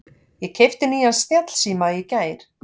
Ég keypti nýjan snjallsíma í gær.